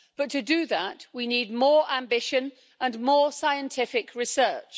But to do that, we need more ambition and more scientific research.